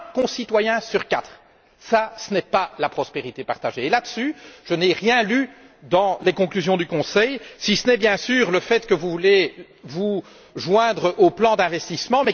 Un concitoyen sur quatre, ce n'est pas la prospérité partagée et je n'ai rien lu à ce propos dans les conclusions du Conseil, si ce n'est, bien sûr, le fait que vous voulez vous joindre au plan d'investissement.